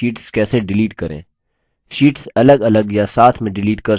sheets अलगअलग या साथ में डिलीट कर सकते हैं